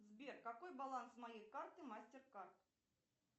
сбер какой баланс моей карты мастер кард